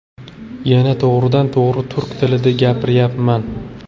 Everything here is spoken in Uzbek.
Yana to‘g‘ridan to‘g‘ri turk tilida gapiryapman.